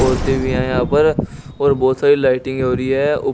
कुर्ते भी हैं यहां पर और बहुत सारी लाइटिंग हो रही है।